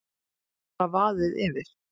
Bara vaðið yfir.